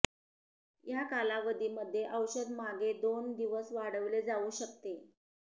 या कालावधी मध्ये औषध मागे दोन दिवस वाढविले जाऊ शकते